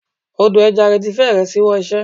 Odò ẹja rẹ̀ ti fẹ́rẹ̀ ṣíwọ́ iṣẹ́.